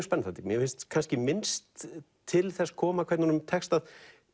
spennandi mér finnst minnst til þess koma hvernig honum tekst að